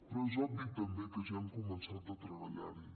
però és obvi també que ja hem començat a treballar hi